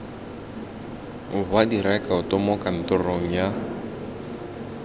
wa direkoto mo kantorong ya